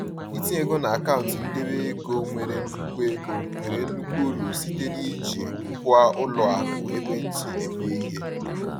Itinye ego n’akaụntụ ndebe ego nwere nnukwu ego nwere nnukwu uru site n’iji ngwa ụlọ akụ ekwentị eme ihe.